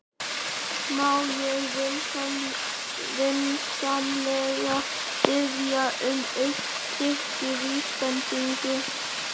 Má ég vinsamlega biðja um eitt stykki vísbendingu?